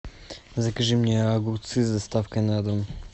закажи мне огурцы с доставкой на дом